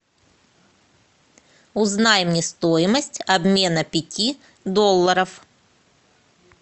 узнай мне стоимость обмена пяти долларов